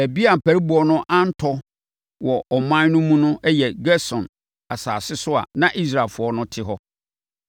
Baabi a ampariboɔ no antɔ wɔ ɔman no mu no yɛ Gosen asase so a na Israelfoɔ no te hɔ.